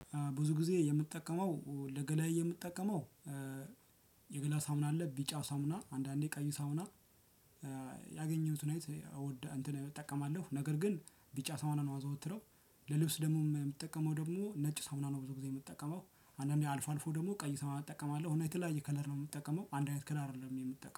ብዙ ጊዜ የምጠቀመው ለገላዬ የምጠቀመው የገላ ሳምና አለ ቢጫ ሳምና አንዳንዴ ቀዩ ሳምና ያገኘሁትን አይነት እንትን እጠቀማለሁ ነገር ግን ቢጫ ሳሙና ነው ማዘወትረው። ለልብስ ደግሞ የምትጠቀመው ደግሞ ነጭ ሳሙና ነው ብዙ ጊዜ የምትጠቀመው አንዳንዴ አልፎ አልፎ ደግሞ ቀይ ሳሙና እጠቀማለሁ። እና የተለያየ ከለስ ነው የምጠቀመው አንድ አይነት ከለስ አይደለም የምጠቀመው